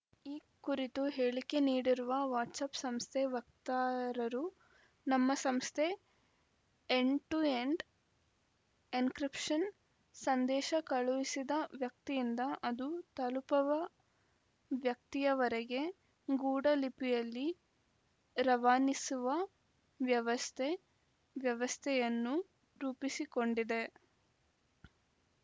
ಈ ಕುರಿತು ಹೇಳಿಕೆ ನೀಡಿರುವ ವಾಟ್ಸಪ್‌ ಸಂಸ್ಥೆ ವಕ್ತಾರರು ನಮ್ಮ ಸಂಸ್ಥೆ ಎಂಡ್‌ ಟು ಎಂಡ್‌ ಎನ್‌ಕ್ರಿಪ್ಷನ್‌ ಸಂದೇಶ ಕಳುಹಿಸಿದ ವ್ಯಕ್ತಿಯಿಂದ ಅದು ತಲುಪವ ವ್ಯಕ್ತಿಯವರೆಗೆ ಗೂಡ ಲಿಪಿಯಲ್ಲಿ ರವಾನಿಸುವ ವ್ಯವಸ್ಥೆ ವ್ಯವಸ್ಥೆಯನ್ನು ರೂಪಿಸಿಕೊಂಡಿದೆ